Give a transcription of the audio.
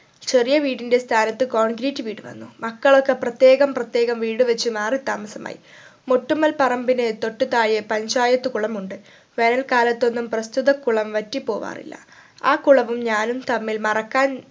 ചെറിയ വീടിന്റെ സ്ഥാനത്ത് concreate വീട് വന്നു മക്കളൊക്കെ പ്രത്യേകം പ്രത്യേകം വീട് വെച്ച് മാറി താമസമായി മൊട്ടുമ്മൽ പറമ്പിന് തൊട്ടു താഴെ പഞ്ചായത് കുളമുണ്ട് വേനൽക്കാലത്തൊന്നും പ്രസ്‌തുത കുളം വറ്റി പോവാറില്ല ആ കുളവും ഞാനും തമ്മിൽ മറക്കാൻ